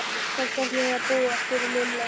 Hvar ætlið þið að búa? spurði Lilla.